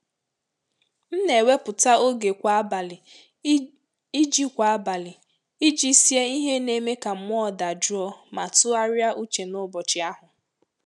M na-ewepụta oge kwa abalị iji kwa abalị iji sie ihe na eme ka mụọ daa jụọ ma tụgharịa uche n'ụbọchị ahụ.